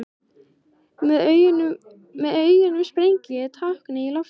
Með augunum sprengi ég tankinn í loft upp.